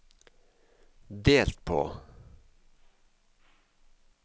delt på